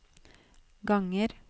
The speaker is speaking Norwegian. ganger